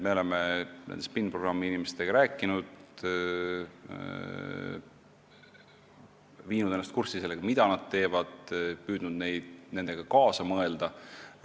Me oleme nende SPIN-programmi inimestega rääkinud: viinud ennast kurssi sellega, mida nad teevad, ja püüdnud nendega kaasa mõelda.